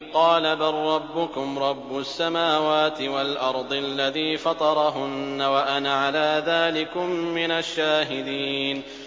قَالَ بَل رَّبُّكُمْ رَبُّ السَّمَاوَاتِ وَالْأَرْضِ الَّذِي فَطَرَهُنَّ وَأَنَا عَلَىٰ ذَٰلِكُم مِّنَ الشَّاهِدِينَ